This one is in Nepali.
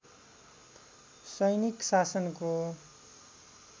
सैनिक शासनको